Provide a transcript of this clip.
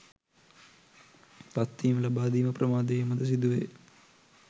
පත්වීම් ලබාදීම ප්‍රමාද වීමද සිදුවේ